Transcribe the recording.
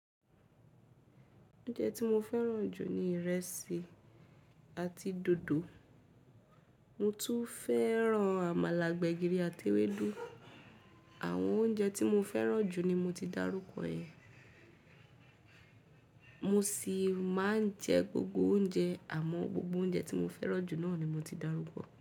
Oúnjẹ tí mo fẹ́ràn jù ni ìrẹsì àti dòdò. Mo tún fẹ́ràn àmàlà, gbẹ̀gìrì àti ewédú. Àwọn oúnjẹ tí mo fẹ́ràn jù ni mo ti dárúkọ yẹn. Mo sì máa ń jẹ gbogbo oúnjẹ àmọ́ gbogbo oúnjẹ tí mo fẹ́ràn jù náà ni mo ti dárúkọ.